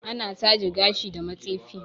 Ana taje gashi da matsefi